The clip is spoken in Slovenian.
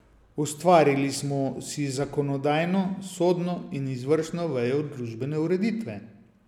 Ustvarili smo si zakonodajno, sodno in izvršno vejo družbene ureditve.